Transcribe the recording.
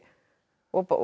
og